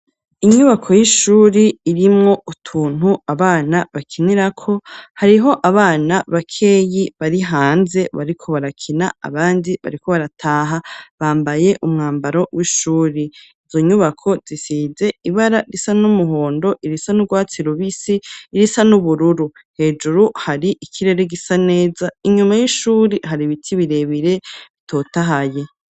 Inyubako y'ishuri, irimwo utuntu abana bakinirako, hariho abana bakeyi bari hanze, bariko barakina abandi bariko barataha; bambaye umwambaro w'ishuri; izo nyubako zisize ibara risa n'umuhondo, irisa n'urwatsi rubisi, irisa n'ubururu; hejuru hari ikirere gisa neza, inyuma y'ishuri hari ibiti birebire bitotahaye.